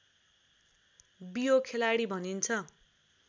बियो खेलाडी भनिन्छ